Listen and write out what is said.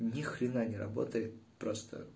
ни хрена не работает просто